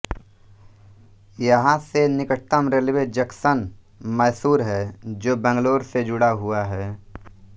यहां से निकटतम रेलवे जंक्शन मैसूर है जो बैंगलोर से जुड़ा हुआ है